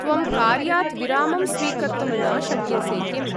त्वं कार्यात् विरामं स्वीकर्तुं न शक्यसे किम्?